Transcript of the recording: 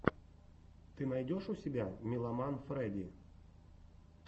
ты найдешь у себя милламан фрэди